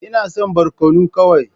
Ina son barkono kawai.